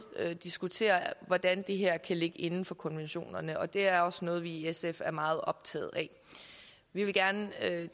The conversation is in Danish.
diskuterer hvordan det her kan ligge inden for konventionerne det er også noget vi i sf er meget optaget af vi vil gerne